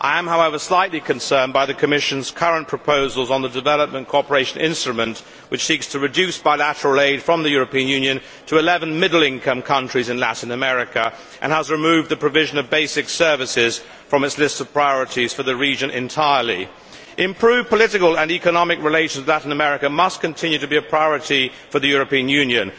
I am, however, slightly concerned by the Commission's current proposals on the development cooperation instrument, which seeks to reduce bilateral aid from the European Union to 11 middle income countries in Latin America and has entirely removed the provision of basic services from its list of priorities for the region. Improved political and economic relations with Latin America must continue to be a priority for the European Union.